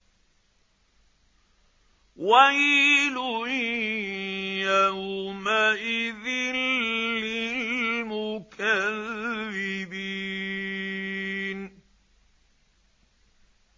وَيْلٌ يَوْمَئِذٍ لِّلْمُكَذِّبِينَ